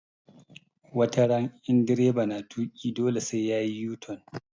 Wataran in direba na tuƙi dole sai yayi u-turn